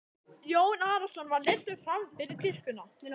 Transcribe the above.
Jón Arason var leiddur fram fyrir kirkjuna.